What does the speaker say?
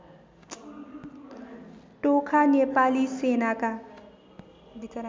टोखा नेपाली सेनाका